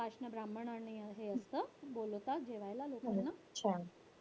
सवाष्ण, ब्राम्हण आणि हे असतं, बोलवतात जेवायला लोकांना.